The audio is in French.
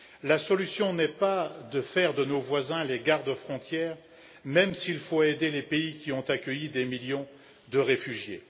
La solution n'est pas de faire de nos voisins des gardes frontières, même s'il faut aider les pays qui ont accueilli des millions de réfugiés.